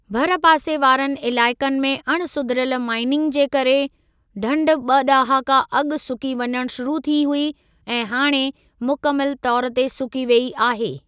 भरपासे वारनि इलाइक़नि में अण सुधिरियल माइनिंग जे करे, ढंढ ॿ ॾहाका अॻु सुकी वञणु शुरू थी हुई ऐं हाणे मुकमिलु तौर ते सुकी वेई आहे।